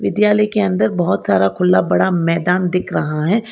विद्यालय के अंदर बहुत सारा खुला पड़ा मैदान दिख रहा है।